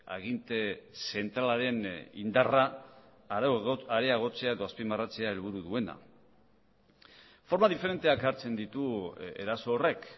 aginte zentralaren indarra areagotzea edo azpimarratzea helburu duena forma diferenteak hartzen ditu eraso horrek